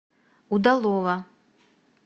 удалова